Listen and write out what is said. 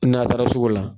N'a taara sugu la